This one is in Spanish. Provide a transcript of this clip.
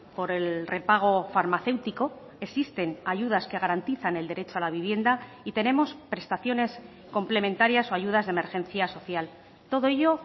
por el repago farmacéutico existen ayudas que garantizan el derecho a la vivienda y tenemos prestaciones complementarias o ayudas de emergencia social todo ello